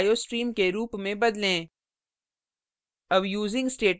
header file को iostream के रूप में बदलें